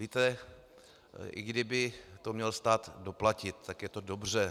Víte, i kdyby to měl stát doplatit, tak je to dobře.